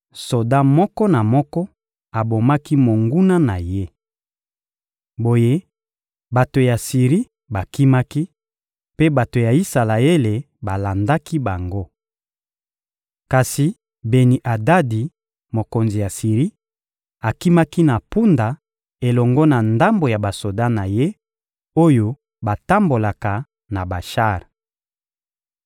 Soda moko na moko abomaki monguna na ye. Boye bato ya Siri bakimaki, mpe bato ya Isalaele balandaki bango. Kasi Beni-Adadi, mokonzi ya Siri, akimaki na mpunda elongo na ndambo ya basoda na ye, oyo batambolaka na bashar.